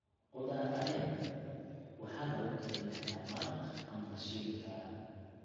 Khudaar caleen waxaa lagu karin karaa maraq ama la shiili karaa.